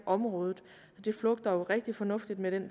området det flugter jo rigtig fornuftigt med det